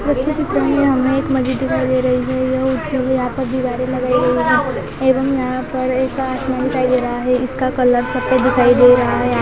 इस चित्र में हमें एक मस्जिद दिखाई दे रही है यहाँ पर दीवारें लगाई गई हैं। ऐवम यहाँ पर एक आसमान दिखाई दे रहा है इसका कलर सफ़ेद दिखाई दे रहा है।